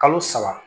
Kalo saba